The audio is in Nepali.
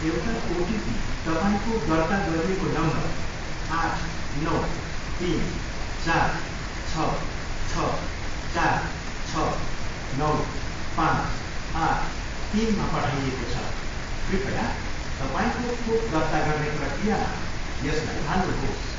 एउटा ओटिपी तपाईँँको दर्ता गरिएको नम्बर आठ, नौ, तिन, चार, छ, छ, चार, छ, नौ, पाँच, आठ, तिनमा पठाइएको छ, कृपया तपाईँँको खोप दर्ता गर्ने प्रक्रियामा यसलाई हाल्नुहोस्।